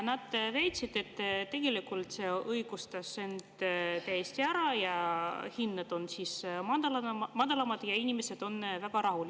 Nad väitsid, et tegelikult see täiesti õigustas end: hinnad on madalamad ja inimesed on väga rahul.